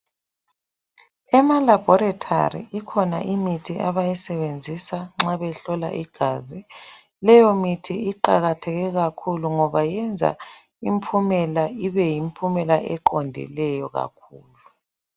Ema laboratory ikhona imithi abayisebenzisa nxa behlola igazi. Leyomithi iqakatheke kakhulu ngoba yenza impumela ibe yimpumela eqondileyo kakhulu.